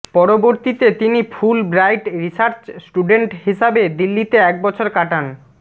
পরবর্তীতে তিনি Fulbright research student হিসাবে দিল্লিতে এক বছর কাটান